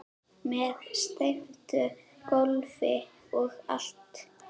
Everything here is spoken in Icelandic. Með steyptu gólfi og allt